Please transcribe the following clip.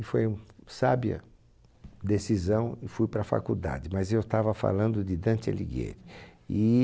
E foi um sábia decisão e fui para a faculdade, mas eu estava falando de Dante Alighieri.